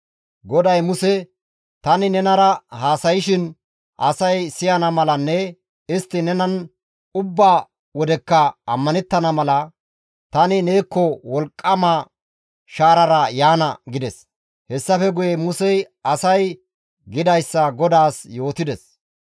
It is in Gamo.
GODAY Muse, «Tani nenara haasayshin asay siyana malanne istti nenan ubba wodekka ammanettana mala, tani neekko wolqqama shaarara yaana» gides. Hessafe guye Musey asay gidayssa GODAAS yootides.